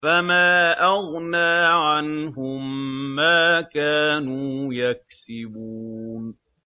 فَمَا أَغْنَىٰ عَنْهُم مَّا كَانُوا يَكْسِبُونَ